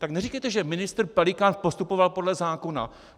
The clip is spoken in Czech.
Tak neříkejte, že ministr Pelikán postupoval podle zákona.